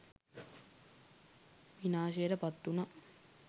විනාශයට පත් වුණා.